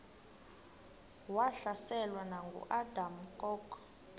wahlaselwa nanguadam kok